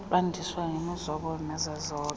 lwandiswe ngemizobo nezazobe